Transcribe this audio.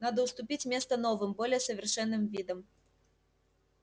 надо уступить место новым более совершенным видам